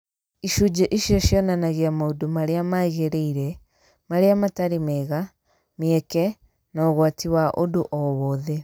Icunjĩ icio cionanagia maũndũ marĩa magĩrĩire, marĩa matarĩ mega, mĩeke, na ũgwati wa ũndũ o wothe.